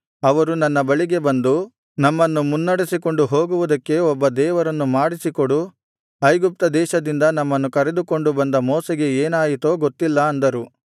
ಅವರು ನನ್ನ ಬಳಿಗೆ ಬಂದು ನಮ್ಮನ್ನು ಮುನ್ನಡೆಸಿಕೊಂಡು ಹೋಗುವುದಕ್ಕೆ ಒಬ್ಬ ದೇವರನ್ನು ಮಾಡಿಸಿಕೊಡು ಐಗುಪ್ತ ದೇಶದಿಂದ ನಮ್ಮನ್ನು ಕರೆದುಕೊಂಡು ಬಂದ ಮೋಶೆಗೆ ಏನಾಯಿತೋ ಗೊತ್ತಿಲ್ಲ ಅಂದರು